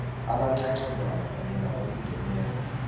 abancancazana kanye nabalingeneko